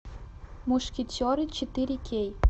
мушкетеры четыре кей